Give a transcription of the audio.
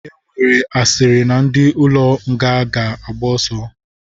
Enwere asịrị na ndi ụlọ nga ga agba oso.